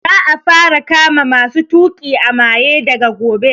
Za a fara kama masu tuƙi a maye daga gobe